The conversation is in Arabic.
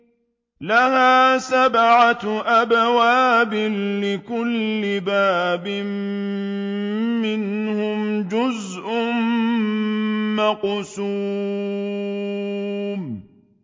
لَهَا سَبْعَةُ أَبْوَابٍ لِّكُلِّ بَابٍ مِّنْهُمْ جُزْءٌ مَّقْسُومٌ